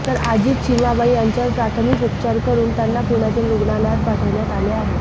तर आजी चिमाबाई यांच्यावर प्राथमिक उपचार करून त्यांना पुण्यातील रुग्णालायत पाठविण्यात आले आहे